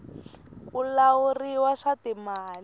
ku lahuliwa swa timali